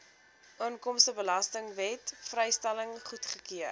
inkomstebelastingwet vrystelling goedgekeur